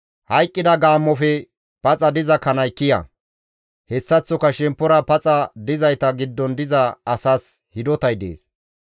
Hayqqida gaammofe paxa diza kanay kiya; hessaththoka shemppora paxa dizayta giddon diza asas hidotay dees.